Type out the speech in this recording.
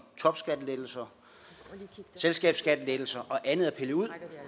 topskattelettelser selskabsskattelettelser og andet er pillet ud